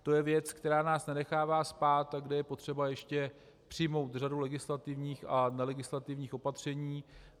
To je věc, která nás nenechává spát a kde je potřeba ještě přijmout řadu legislativních a nelegislativních opatření.